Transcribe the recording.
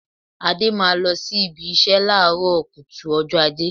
Adé máa lọ síbi ìṣe láàárọ̀ kùtù ọjọ́ Ajé